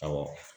Awɔ